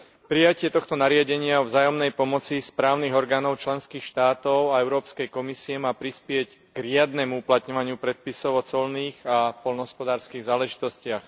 Prijatie tohto nariadenia o vzájomnej pomoci správnych orgánov členských štátov a Európskej komisie má prispieť k riadnemu uplatňovaniu predpisov o colných a poľnohospodárskych záležitostiach.